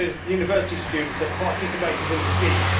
university students participated in the scheme.